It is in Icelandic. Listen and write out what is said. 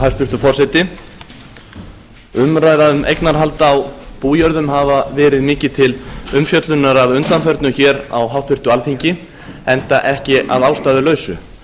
hæstvirtur forseti umræða um eignarhald á bújörðum hafa verið mikið til umfjöllunar á háttvirtu alþingi enda ekki að ástæðulausu